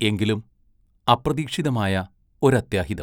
എങ്കിലും അപ്രതീക്ഷിതമായ ഒരത്യാഹിതം.